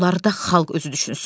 Onları da xalq özü düşünsün.